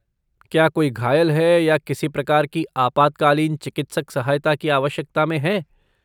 क्या कोई घायल है या किसी प्रकार की आपातकालीन चिकित्सक सहायता की आवश्यकता में है?